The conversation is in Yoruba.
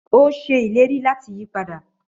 Ó ṣe ìlérí láti yí padà